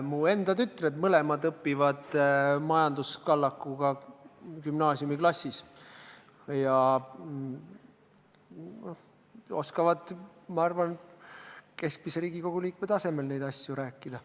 Mu enda mõlemad tütred õpivad majanduskallakuga gümnaasiumiklassis ja oskavad, ma arvan, keskmise Riigikogu liikme tasemel neist asjust rääkida.